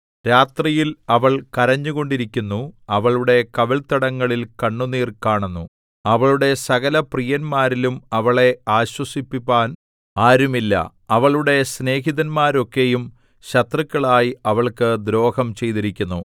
രാത്രിയിൽ അവൾ കരഞ്ഞുകൊണ്ടിരിക്കുന്നു അവളുടെ കവിൾത്തടങ്ങളിൽ കണ്ണുനീർ കാണുന്നു അവളുടെ സകലപ്രിയന്മാരിലും അവളെ ആശ്വസിപ്പിപ്പാൻ ആരുമില്ല അവളുടെ സ്നേഹിതന്മാരൊക്കെയും ശത്രുക്കളായി അവൾക്ക് ദ്രോഹം ചെയ്തിരിക്കുന്നു